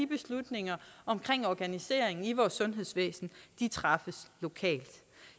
beslutninger om organiseringen af vores sundhedsvæsen træffes lokalt